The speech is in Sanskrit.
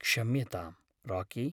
क्षम्यतां राकी।